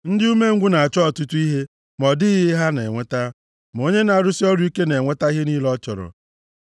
Ndị umengwụ na-achọ ọtụtụ ihe ma ọ dịghị ihe ha na-enweta; ma onye na-arụsị ọrụ ike na-enweta ihe niile ọ chọrọ.